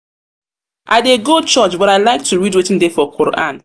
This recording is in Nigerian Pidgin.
i i dey go church but i like to read wetin dey for quoran